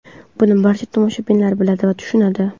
Buni barcha tomoshabinlar biladi va tushunadi.